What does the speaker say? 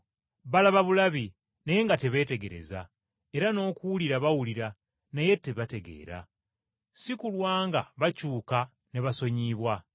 “Balaba bulabi naye nga tebeetegereza, era n’okuwulira bawulira naye tebategeera, si kulwa nga bakyuka ne basonyiyibwa.”